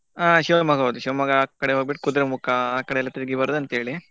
ಹಾ Shivamogga ಹೌದು Shivamogga ಆ ಕಡೆ ಹೋಗ್ಬಿಟ್ಟು ಕುದ್ರೆಮುಖ ಆ ಕಡೆ ಎಲ್ಲ ತಿರ್ಗಿ ಬರೋದು ಅಂತ ಹೇಳಿ.